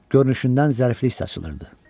Görünüşündən zəriflik saçılırdı.